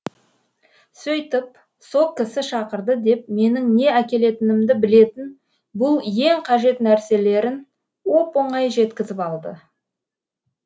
сөйтіп со кісі шақырды деп менің не әкелетінімді білетін бұл ең қажет нәрселерін оп оңай жеткізіп алды